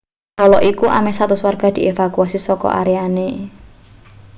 kala iku ameh 100 warga dievakuasi saka areane